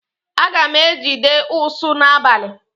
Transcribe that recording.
Aga m ejide ụsụ n'abalị.